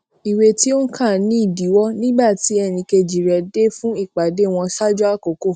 iwe ti o n ka ni idiwo nígbà tí ẹnì kejì rè dé fun ìpàdé wọn ṣáájú àkokò